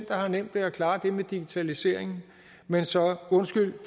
der har nemt ved at klare det med digitaliseringen men så